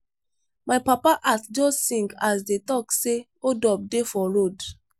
my papa heart just sink as dey talk say hold up dey for radio